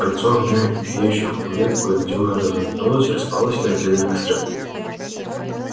кольцо огня и тлеющих углей кое где уже разомкнулось распалось на отдельные костры